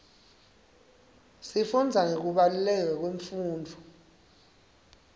sifundza ngekubaluleka kwemfundvo